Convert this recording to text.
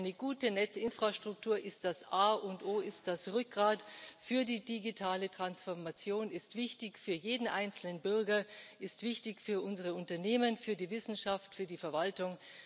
Eine gute Netzinfrastruktur ist das A und O, ist das Rückgrat für die digitale Transformation, ist wichtig für jeden einzelnen Bürger, ist wichtig für unsere Unternehmen, für die Wissenschaft, für die Verwaltung.